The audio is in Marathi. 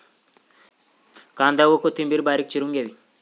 कांदा व कोथिंबिर बारीक चिरून घ्यावी.